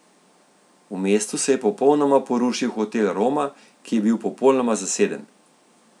V mestu se je popolnoma porušil hotel Roma, ki je bil popolnoma zaseden.